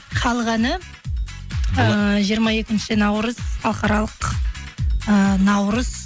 халық әні ыыы жиырма екінші наурыз халықаралық ыыы наурыз